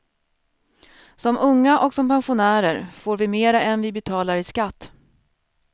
Som unga och som pensionärer får vi mer än vi betalar i skatt.